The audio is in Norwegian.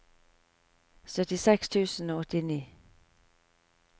syttiseks tusen og åttini